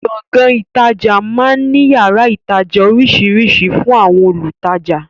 Gbọ̀ngán ìtajà máa ń ní yàrá ìtajà oríṣiríṣi fún àwọn olùtajà